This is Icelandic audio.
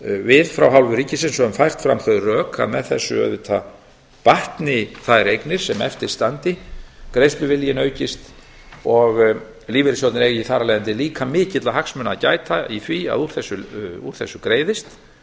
við frá hálfu ríkisins höfum fært fram þau rök að með þessu auðvitað batni þær eignir sem eftir standi greiðsluviljinn aukist og lífeyrissjóðirnir eigi þar af leiðandi líka mikilla hagsmuna að gæta í því að úr þessu greiðist